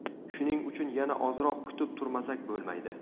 Shuning uchun yana ozroq kutib turmasak bo‘lmaydi.